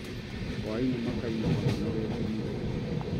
Hwaĩinĩ makainũka manogete mũno